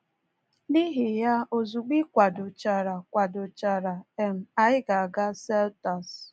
“N’ihi ya, ozugbo ị kwadochara, kwadochara, um anyị ga-aga Selters.